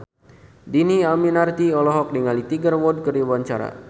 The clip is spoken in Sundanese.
Dhini Aminarti olohok ningali Tiger Wood keur diwawancara